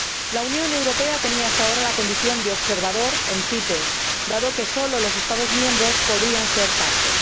La Unión Europea tenía hasta ahora la condición de observador en la CITES, dado que solo los Estados miembros podían ser partes.